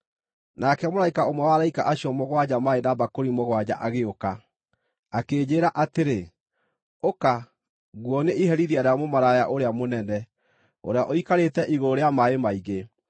Nake mũraika ũmwe wa araika acio mũgwanja, maarĩ na mbakũri mũgwanja agĩũka, akĩnjĩĩra atĩrĩ, “Ũka, nguonie iherithia rĩa mũmaraya ũrĩa mũnene, ũrĩa ũikarĩte igũrũ rĩa maaĩ maingĩ.